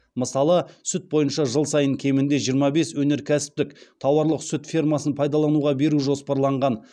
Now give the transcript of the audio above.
мысалы сүт бойынша жыл сайын кемінде жиырма бес өнеркәсіптік тауарлық сүт фермасын пайдалануға беру жоспарланған